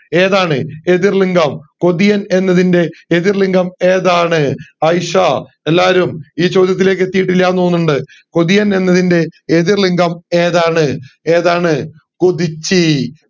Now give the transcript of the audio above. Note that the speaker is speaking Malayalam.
ഏതാണ് എതിർ ലിംഗം കൊതിയാണ് എന്നതിന്റെ എതിർ ലിംഗം ഏതാണ് ഐഷ എല്ലാരും ഈ ചോദ്യത്തിലേക്ക് എത്തിയിട്ടില്ല എന്ന് തോന്നുന്ന്ണ്ട് കൊതിയാണ് എന്നതിന്റെ എതിർ ലിംഗം ഏതാണ് ഏതാണ് കൊതിച്ചി